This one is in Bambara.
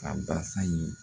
Ka basi